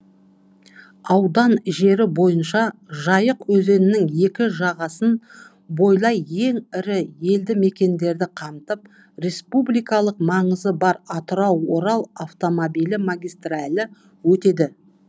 аудан жері бойынша жайық өзенінің екі жағасын бойлай ең ірі елді мекендерді қамтып республикалық маңызы бар атырау орал автомобиль магистралі өтеді